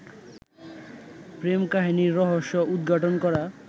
প্রেম কাহিনীর রহস্য উদ্ঘাটন করা